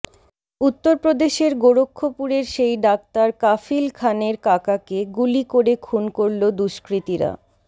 উত্তরপ্রদেশের গোরক্ষপুরের সেই ডাক্তার কাফিল খানের কাকাকে গুলি করে খুন করল দুষ্কৃতীরা